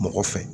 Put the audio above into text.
Mɔgɔ fɛ